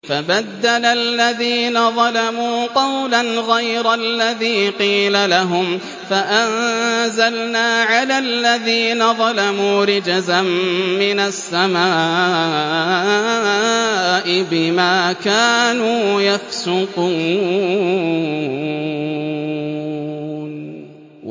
فَبَدَّلَ الَّذِينَ ظَلَمُوا قَوْلًا غَيْرَ الَّذِي قِيلَ لَهُمْ فَأَنزَلْنَا عَلَى الَّذِينَ ظَلَمُوا رِجْزًا مِّنَ السَّمَاءِ بِمَا كَانُوا يَفْسُقُونَ